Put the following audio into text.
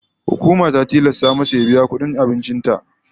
Hukuma ta tilasta mada ya biya ta kudin abincin ta.